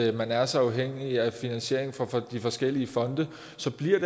at man er så afhængig af finansiering fra de forskellige fonde